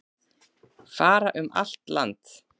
Fara um allt land